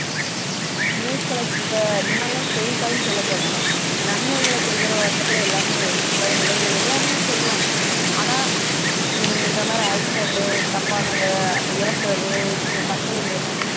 news collect இப்ப முன்னாடிலாம் செய்தித்தாள்ன்னு சொல்லப்போனா நன்மைகளை குடுக்குற வண்ணத்துல எல்லாமே இருந்துச்சு உலக நிகழ்வுகள் எல்லாமே சொல்லுவாங்க ஆனா ஹம் இந்த மாதிரி accident தப்பானதை இறக்குறது தற்கொலை முயற்சி